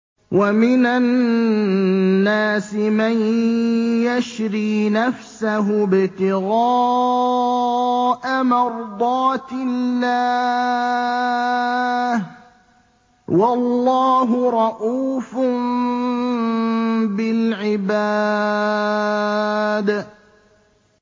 وَمِنَ النَّاسِ مَن يَشْرِي نَفْسَهُ ابْتِغَاءَ مَرْضَاتِ اللَّهِ ۗ وَاللَّهُ رَءُوفٌ بِالْعِبَادِ